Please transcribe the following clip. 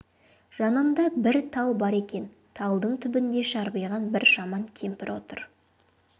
жанында бір тал бар екен талдың түбінде жарбиған бір жаман кемпір отыр